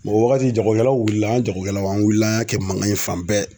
wagati jagokɛlaw wulila an ga jagokɛlaw an wulila an y'a kɛ mankan ye fan bɛɛ